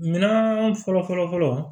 Minɛn fɔlɔ fɔlɔ fɔlɔ